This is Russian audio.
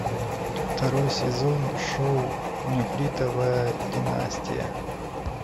второй сезон шоу нефритовая династия